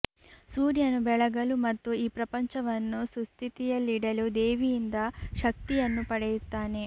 ಸೂರ್ಯನು ಬೆಳಗಲು ಮತ್ತು ಈ ಪ್ರಪಂಚವನ್ನು ಸುಸ್ಥಿತಿಯಲ್ಲಿಡಲು ದೇವಿಯಿಂದ ಶಕ್ತಿಯನ್ನು ಪಡೆಯುತ್ತಾನೆ